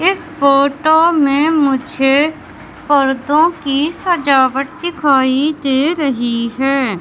इस फोटो में मुझे पर्दों की सजावट दिखाई दे रही है।